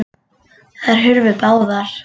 Þær hurfu báðar.